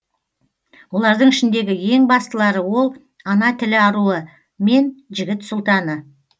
олардың ішіндегі ең бастылары ол ана тілі аруы мен жігіт сұлтаны